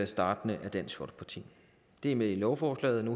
startende med dansk folkeparti det er med i lovforslaget